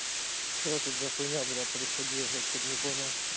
что тут за хуйня брат приходила я что-то не понял